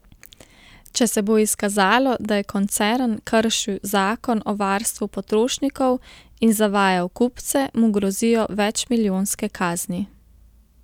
Če se bo izkazalo, da je koncern kršil zakon o varstvu potrošnikov in zavajal kupce, mu grozijo večmilijonske kazni.